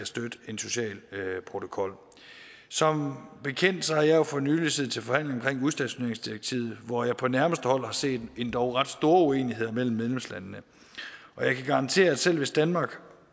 støtte en social protokol som bekendt har jeg for nylig siddet til forhandling om udstationeringsdirektivet hvor jeg på nærmeste hold har set endog ret store uenigheder mellem medlemslandene og jeg kan garantere at selv hvis danmark